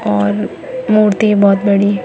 और मूर्ति बहुत बड़ी हैं।